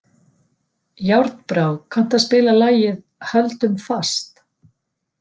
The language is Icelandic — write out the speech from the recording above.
Járnbrá, kanntu að spila lagið „Höldum fast“?